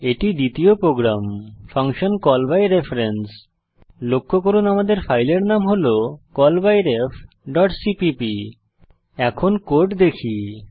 এটি দ্বিতীয় program function call by reference লক্ষ্য করুন আমাদের ফাইলের নাম হল callbyrefসিপিপি এখন কোড দেখি